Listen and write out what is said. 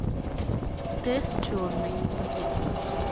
тесс черный в пакетиках